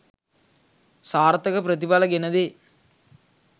සාර්ථක ප්‍රතිඵල ගෙන දේ.